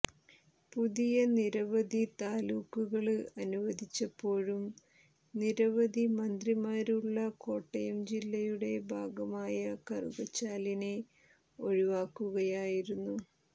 പുതിയ നിരവധി താലൂക്കുകള് അനുവദിച്ചപ്പോഴും നിരവധി മന്ത്രിമാര് ഉള്ള കോട്ടയം ജില്ലയുടെ ഭാഗമായ കറുകച്ചാലിനെ ഒഴിവാക്കുകയായിരുന്നു